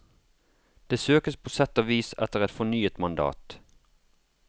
Det søkes på sett og vis etter et fornyet mandat.